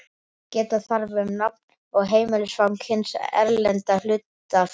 Geta þarf um nafn og heimilisfang hins erlenda hlutafélags.